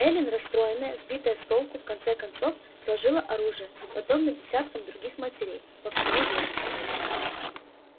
эллин расстроенная сбитая с толку в конце концов сложила оружие подобно десяткам других матерей по всему югу